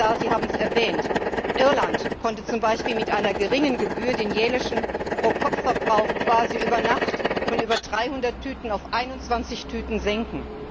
Herr Kommissar, Sie haben es erwähnt Irland konnte zum Beispiel mit einer geringen Gebühr den jährlichen Pro Kopf Verbrauch quasi über Nacht von über 300Tüten auf 21Tüten senken.